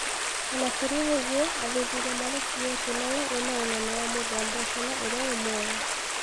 Ona Kũrĩ ũguo athuthuria mareciria ati noyo ĩna ũnene wa mũthemba ũcio na iria ĩĩ muoyo